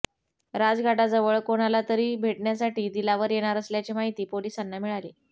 राजघाटाजवळ कोणाला तरी भेटण्यासाठी दिलावर येणार असल्याची माहिती पोलिसांना मिळाली